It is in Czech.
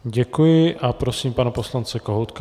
Děkuji a prosím pana poslance Kohoutka.